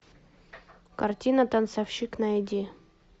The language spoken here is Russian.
картина танцовщик найди